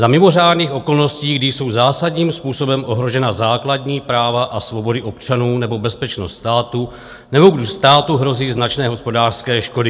Za mimořádných okolností, kdy jsou zásadním způsobem ohrožena základní práva a svobody občanů nebo bezpečnost státu, nebo když státu hrozí značné hospodářské škody.